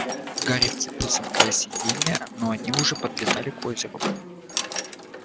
гарри вцепился в край сиденья они уже подлетали к озеру